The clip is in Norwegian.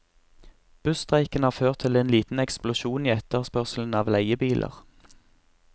Busstreiken har ført til en liten eksplosjon i etterspørselen av leiebiler.